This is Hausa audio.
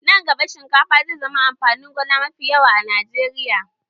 Nan gaba, shinkafa zai zama amfanin gona mafi yawa a Najeriya.